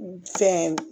Fɛn